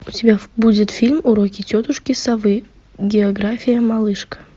у тебя будет фильм уроки тетушки совы география малышка